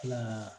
Kila ka